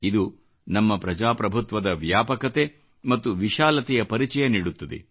ಇದು ನಮ್ಮ ಪ್ರಜಾಪ್ರಭುತ್ವದ ವ್ಯಾಪಕತೆ ಮತ್ತು ವಿಶಾಲತೆಯ ಪರಿಚಯ ನೀಡುತ್ತದೆ